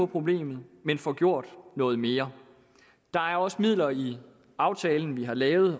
problemet men får gjort noget mere der er også midler i den aftale vi har lavet